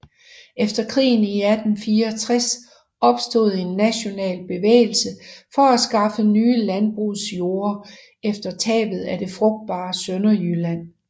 Efter krigen i 1864 opstod en national bevægelse for at skaffe nye landbrugsjorder efter tabet af det frugtbare Sønderjylland